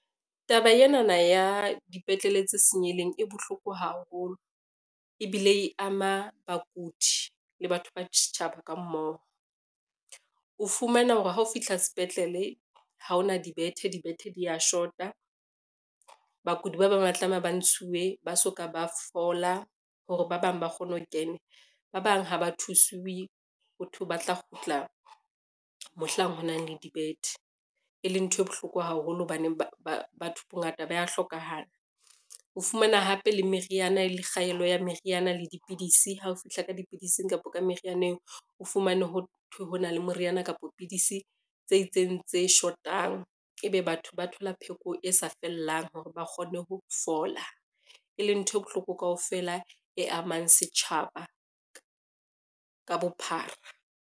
Taba enana ya dipetlele tse senyehileng e bohloko haholo, ebile e ama bakudi le batho ba setjhaba ka mmoho. O fumana hore ha o fihla sepetlele ha ona dibethe, dibethe dia shota, bakudi ba bang ba tlameha ba ntshiwe ba soka ba fola hore ba bang ba kgone ho kena. Ba bang ha ba thusuwe hothwe ba tla kgutla mohlang ho na le dibethe, e leng ntho e bohloko haholo hobaneng ba batho bongata ba ya hlokahala. O fumana hape le meriana e le kgaello ya meriana le dipidisi ha o fihla ka dipidisi kapa merianeng o fumane hothwe ho na le moriana kapa pidisi tse itseng tse shotang, ebe batho ba thola pheko e sa fellang hore ba kgone ho fola, e leng ntho e bohloko kaofela e amang setjhaba ka bophara.